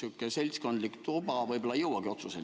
Sihuke seltskondlik tuba võib-olla ei jõuagi otsuseni.